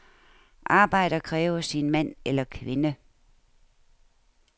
Arbejdet kræver sin mand eller kvinde.